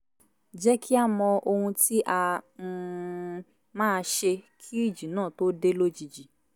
jẹ́ kí a mọ ohun tí a um máa ṣe kí ìjì náà tó dé lójijì